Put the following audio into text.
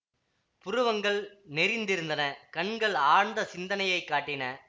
புருவங்கள் நெறிந்திருந்தன கண்கள் ஆழ்ந்த சிந்தனையைக் காட்டின